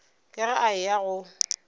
ka ge a eya go